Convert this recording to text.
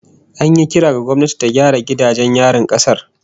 An yi kira ga gwamnati ta gyara gidajen yarin kasar